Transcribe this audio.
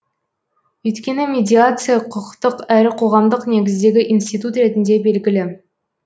өйткені медиация құқықтық әрі қоғамдық негіздегі институт ретінде белгілі